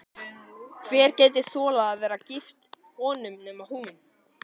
Hver gæti þolað að vera gift honum nema hún?